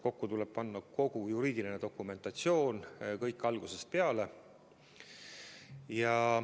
Kokku tuleb panna kogu juriidiline dokumentatsioon, kõik algusest peale.